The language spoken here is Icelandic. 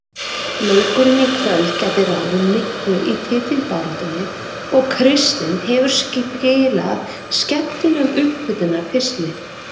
Leikurinn í kvöld gæti ráðið miklu í titilbaráttunni og Kristinn hefur skilað skemmtilegum upphitunar pistli.